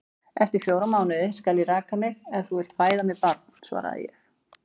Eftir fjóra mánuði skal ég raka mig, ef þú vilt fæða mér barn, svaraði ég.